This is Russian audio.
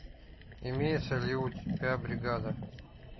имеется ли у тебя бригада